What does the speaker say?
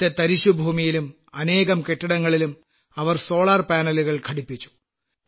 അവിടത്തെ തരിശ്ശ് ഭൂമിയിലും അനേകം കെട്ടിടങ്ങളിലും അവർ സോളാർ പാനലുകൾ ഘടിപ്പിച്ചു